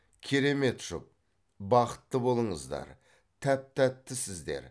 керемет жұп бақытты болыңыздар тәп тәттісіздер